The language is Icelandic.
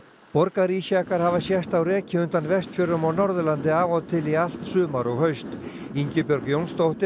borgarísjakar hafa sést á reki undan Vestfjörðum og Norðurlandi af og til í allt sumar og haust Ingibjörg Jónsdóttir